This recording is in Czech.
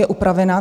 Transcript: Je upravená.